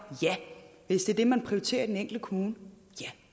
hvis det er det man prioriterer i den enkelte kommune ja